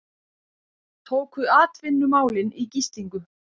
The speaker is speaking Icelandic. Tóku atvinnumálin í gíslingu